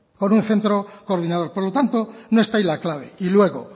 con un centro coordinador por lo tanto no está ahí la clave y luego